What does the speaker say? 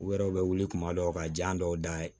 U yɛrɛ u bɛ wuli kuma dɔw ka jan dɔw da ye